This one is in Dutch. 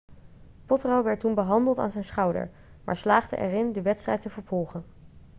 potro werd toen behandeld aan zijn schouder maar slaagde erin de wedstrijd te vervolgen